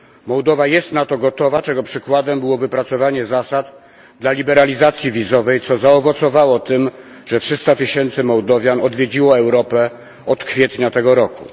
Mołdowa jest na to gotowa, czego przykładem było wypracowanie zasad dla liberalizacji wizowej, co zaowocowało tym, że 300 tysięcy Mołdowian odwiedziło Europę od kwietnia tego roku.